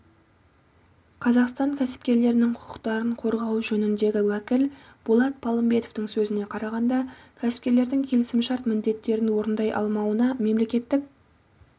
қазақстан кәсіпкерлерінің құқықтарын қорғау жөніндегі уәкіл болат палымбетовтың сөзіне қарағанда кәсіпкерлердің келісімшарт міндеттерін орындай алмауына мемлекеттік